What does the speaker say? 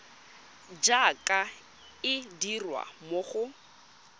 jaaka e dirwa mo go